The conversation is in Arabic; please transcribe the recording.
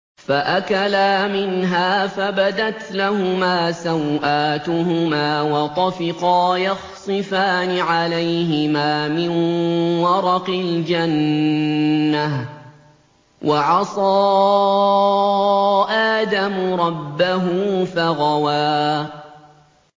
فَأَكَلَا مِنْهَا فَبَدَتْ لَهُمَا سَوْآتُهُمَا وَطَفِقَا يَخْصِفَانِ عَلَيْهِمَا مِن وَرَقِ الْجَنَّةِ ۚ وَعَصَىٰ آدَمُ رَبَّهُ فَغَوَىٰ